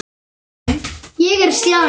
Ég er slæg.